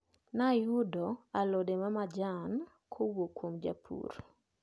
Nayudo alode mamajan kowuok kuom japur.